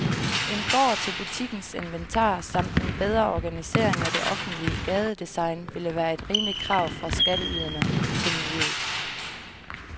En gård til butikkens inventar samt en bedre organisering af det offentlige gadedesign ville være et rimeligt krav fra skatteyderne til miljøet.